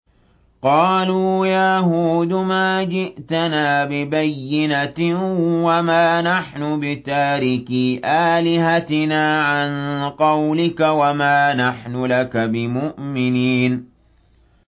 قَالُوا يَا هُودُ مَا جِئْتَنَا بِبَيِّنَةٍ وَمَا نَحْنُ بِتَارِكِي آلِهَتِنَا عَن قَوْلِكَ وَمَا نَحْنُ لَكَ بِمُؤْمِنِينَ